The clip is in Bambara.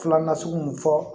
Filanan sugu mun fɔ